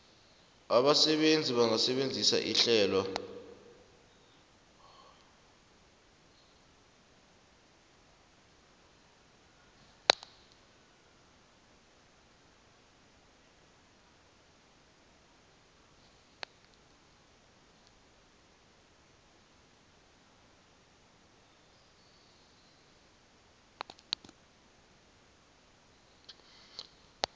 abasebenzi bangasebenzisa ihlelo